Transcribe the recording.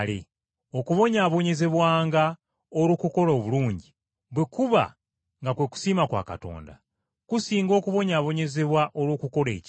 Okubonyaabonyezebwanga olw’okukola obulungi, bwe kuba nga kwe kusiima kwa Katonda, kusinga okubonyaabonyezebwa olw’okukola ekibi.